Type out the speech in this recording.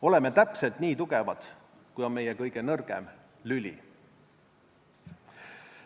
Oleme täpselt nii tugevad, kui on meie kõige nõrgem lüli.